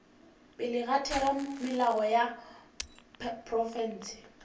pele ga theramelao ya profense